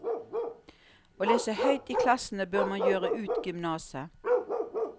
Å lese høyt i klassene bør man gjøre ut gymnaset.